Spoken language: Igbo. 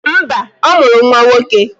Mba, ọ mụrụ nwa nwoke